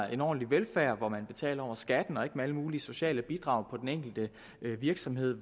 er en ordentlig velfærd hvor man betaler over skatten og ikke med alle mulige sociale bidrag på den enkelte virksomhed